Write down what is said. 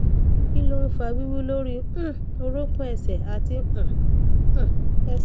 kí ló ń fa wiwu lórí um orokun ẹsẹ àti um um ẹsẹ